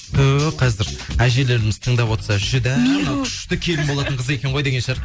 ту қазір әжелеріміз тыңдап отырса жүдә мынау күшті келін болатын қыз екен ғой деген шығар